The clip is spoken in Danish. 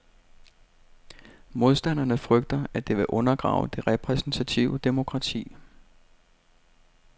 Modstanderne frygter, at det vil undergrave det repræsentative demokrati.